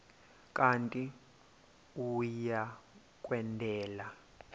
kanti uia kwendela